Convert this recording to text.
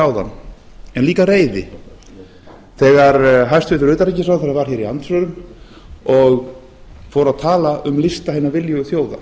áðan en líka reiði þegar hæstvirtur utanríkisráðherra var hér í andsvörum og fór að tala um lista hinna viljugu þjóða